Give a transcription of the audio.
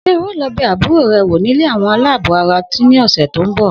S̩e o óò lo̩ be̩ àbúrò re̩ wò nílé àwo̩n aláàbò ara ní òsè̩ tó ń bò̩?